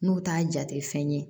N'u t'a jate fɛn ye